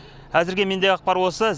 әзірге мендегі ақпар осы